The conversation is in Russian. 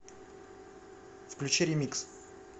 включи ремикс